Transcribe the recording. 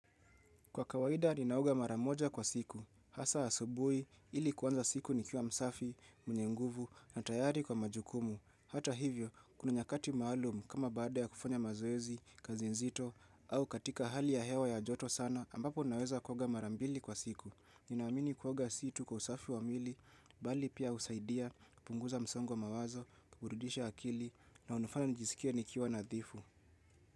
Kwa kawaida ninaoga mara moja kwa siku, hasa asubui ili kuanza siku nikiwa msafi, mwenye nguvu na tayari kwa majukumu. Hata hivyo, kuna nyakati maalum kama baada ya kufanya mazoezi, kazi nzito au katika hali ya hewa ya joto sana ambapo naweza kuoga mara mbili kwa siku. Ninaamini kuoga si tu kwa usafi wa mwili, bali pia usaidia, kupunguza msongo wa mawazo, kuburidisha akili na unafanya nijisikie nikiwa nadhifu.